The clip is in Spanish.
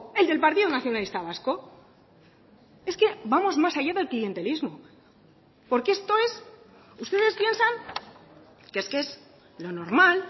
el del partido nacionalista vasco es que vamos más allá del clientelismo porque esto es ustedes piensan que es que es lo normal